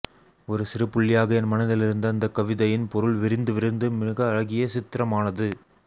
ஒரு சிறு புள்ளியாக என் மனதில் இருந்த அந்தக்கவிதையின் பொருள் விரிந்து விரிந்து மிக அழகிய சித்திரமானது